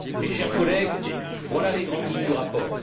Chers collègues, voilà les grandes lignes du rapport.